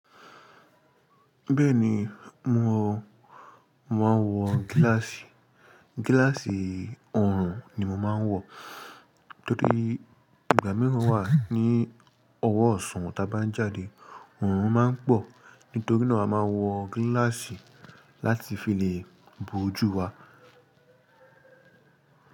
Bẹ́ẹ̀ni, mò máa ń wọ gíláàsì. Gíláàsì Oòrùn ni mo máa ń wọ̀. Nítorí ìgbà míràn wà ní ọwọ́ ọ̀ṣùn ta bá ń jáde, ọ̀rùn máa ń pọ̀. Nítorí náà a máa ń wọ gíláàsì láti fi lè Bo ojú wa.